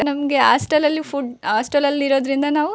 ನಮಗೆ ಹಾಸ್ಟೆಲ್ ಲಿ food hostel ಲಿ ಇರೋದ್ರಿಂದ ನಾವು--